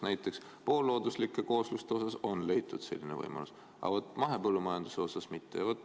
Näiteks poollooduslike koosluste kohta on leitud selline võimalus, aga vaat mahepõllumajanduse kohta mitte.